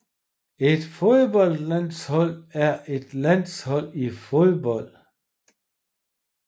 Et fodboldlandshold er et landshold i fodbold